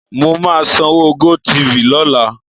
Mo máa sanwó GoTv lọ́la.